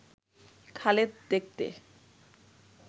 খালেদ দেখতে